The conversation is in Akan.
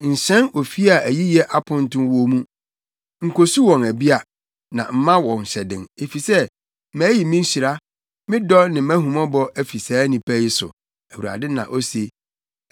“Nhyɛn ofi a ayiyɛ aponto wo mu; nkosu wɔn abia, na mma wɔn hyɛden, efisɛ mayi me nhyira, me dɔ ne mʼahummɔbɔ afi saa nnipa yi so,” Awurade na ose.